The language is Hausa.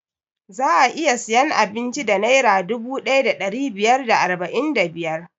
Za'a iya siyan abinci da naira dubu ɗaya da ɗari biyar da arba'in da biyar